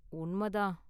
உண்ம தான்.